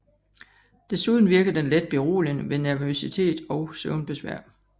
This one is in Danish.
Desuden virker den let beroligende ved nervøsitet og søvnbesvær